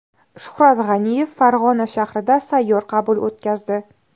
Shuhrat G‘aniyev Farg‘ona shahrida sayyor qabul o‘tkazdi.